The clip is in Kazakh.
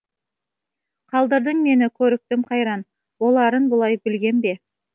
қалдырдың мені көрікітім қайран боларын бұлай білгем бе